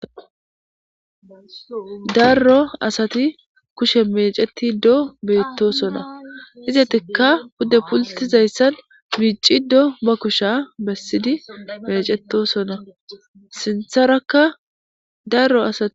darro asati kushe mecetidoo beettosona izetikka pudde pultizayssan miiciddo ba kusha bessidi mecetosona sinththaraka daro asati